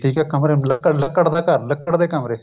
ਠੀਕ ਹੈ ਜੀ ਕਮਰੇ ਕਮਰਾ ਲੱਕੜ ਦਾ ਘਰ ਲੱਕੜ ਦੇ ਕਮਰੇ